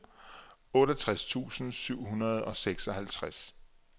otteogtres tusind syv hundrede og seksoghalvtreds